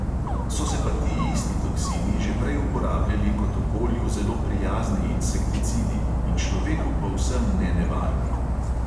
So se pa ti isti toksini že prej uporabljali kot okolju zelo prijazni insekticidi in človeku povsem nenevarni.